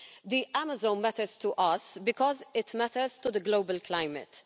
The Amazon matters to us because it matters to the global climate.